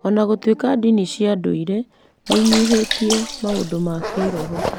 O na gũtuĩka ndini cia ndũire nĩ inyihĩte, maũndũ ma kĩĩroho